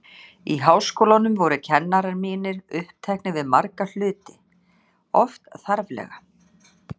Í Háskólanum voru kennarar mínir uppteknir við marga hluti, oft þarflega.